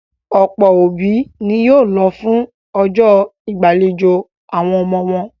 Ọ̀pọ̀ àwọn òbí ni yóò lọ fún ọjọ́ ìgbàlejò àwọn ọmọ wọn.